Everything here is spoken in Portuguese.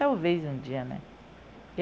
talvez um dia, né?